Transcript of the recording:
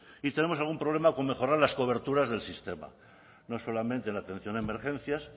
y tenemos algún problema con mejorar las coberturas del sistema no solamente en la atención a emergencias